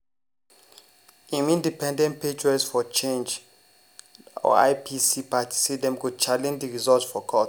im independent patriots for change (ipc) party say dem go challenge di results for court.